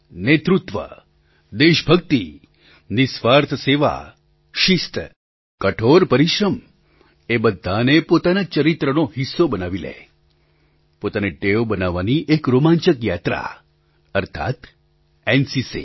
નેતૃત્વ દેશભક્તિ નિસ્વાર્થ સેવા શિસ્ત કઠોર પરિશ્રમ એ બધાને પોતાના ચરિત્રનો હિસ્સો બની લે પોતાનો શોખ બનાવવાની એક રોમાંચક યાત્રા અર્થાત્ એનસીસી